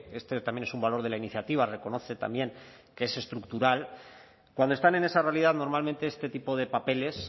este también es un valor de la iniciativa reconoce también que es estructural cuando están en esa realidad normalmente este tipo de papeles